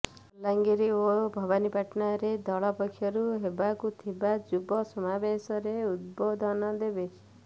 ବଲାଙ୍ଗୀର ଓ ଭବାନୀପାଟଣାରେ ଦଳ ପକ୍ଷରୁ ହେବାକୁ ଥିବା ଯୁବ ସମାବେଶରେ ଉଦ୍ବୋଧନ ଦେବେ